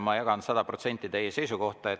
Ma jagan sada protsenti teie seisukohta.